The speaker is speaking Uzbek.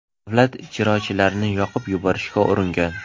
davlat ijrochilarini yoqib yuborishga uringan.